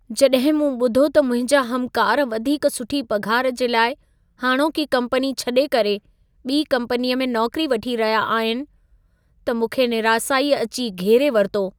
जॾहिं मूं ॿुधो त मुंहिंजा हमकार वधीक सुठी पघार जे लाइ हाणोकी कम्पनी छॾे करे, ॿी कम्पनीअ में नौकरी वठी रहिया आहिनि, त मूंखे निरासाई अचे घेरे वरितो।